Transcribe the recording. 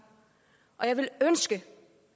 og jeg ville ønske